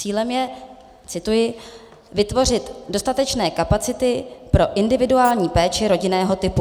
Cílem je - cituji: "vytvořit dostatečné kapacity pro individuální péči rodinného typu".